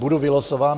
Budu vylosován?